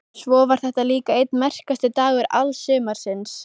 Svo var þetta líka einn merkasti dagur alls sumarsins.